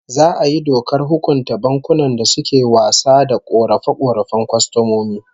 Za'a yi dokar hukunta bankunan da suke wasa da korafe-korafen kwastomomi